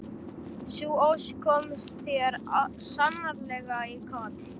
Sú ósk kom þér sannarlega í koll.